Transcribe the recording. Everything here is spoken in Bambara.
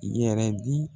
Yɛrɛ di